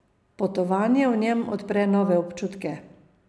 Potovanje v njem odpre nove občutke.